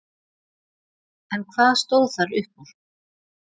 En hvað stóð þar upp úr?